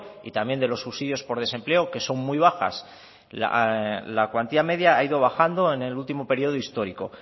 y también de los subsidios por desempleo que son muy bajas la cuantía media ha ido bajando en el último periodo histórico